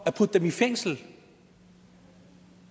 at putte dem i fængsel